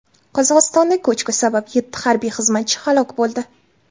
Qozog‘istonda ko‘chki sabab yetti harbiy xizmatchi halok bo‘ldi.